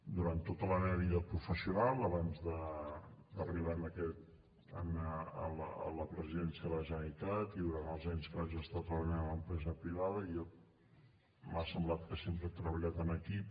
durant tota la meva vida professional abans d’arribar a la presidència de la generalitat i durant els anys que vaig estar treballant a l’empresa privada m’ha semblat que sempre he treballat en equip